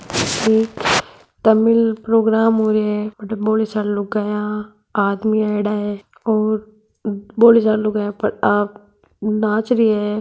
एक तमिल प्रोग्राम होरा है अठ बोली सारी लगाया आदमी आयेडा है और बोली सारी लुगाया आप नाच रि है।